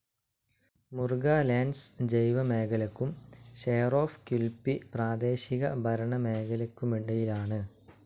Mulga Lands ജൈവമേഖലയ്ക്കും shire of Quilpie പ്രാദേശികഭരണമേഖലയിലയ്ക്കുമിടയിലായാണ്.